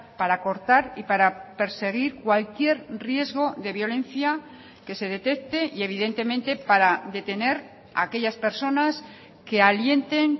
para cortar y para perseguir cualquier riesgo de violencia que se detecte y evidentemente para detener aquellas personas que alienten